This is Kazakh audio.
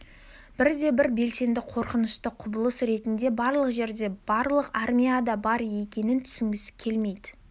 бірде-бір белсенді қорқынышты құбылыс ретінде барлық жерде барлық армияда бар екенін түсінгісі келмейді